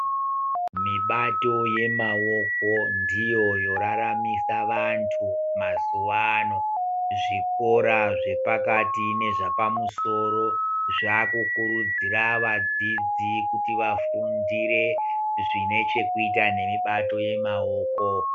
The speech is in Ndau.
Mibato yemaoko ndiyo yoraramisa vantu mazuva ano zvikora zvepakati nezvapamusoro zvakukurudzira vadzidzi kuti vafundire zvine chekuita nemibato yamaoko.